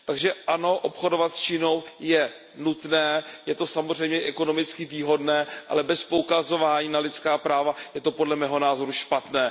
Takže ano, obchodovat s Čínou je nutné, je to samozřejmě ekonomicky výhodné, ale bez poukazování na lidská práva je to podle mého názoru špatné.